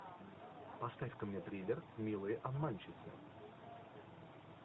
поставь ка мне триллер милые обманщицы